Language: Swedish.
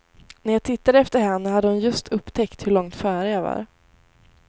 När jag tittade efter henne hade hon just upptäckt hur långt före jag var.